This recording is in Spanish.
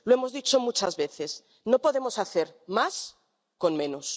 Lo hemos dicho muchas veces no podemos hacer más con menos.